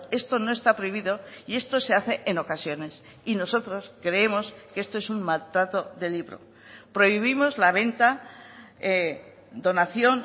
esto no está prohibido y esto se hace en ocasiones y nosotros creemos que esto es un maltrato de libro prohibimos la venta donación